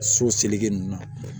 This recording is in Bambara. So seleke nunnu na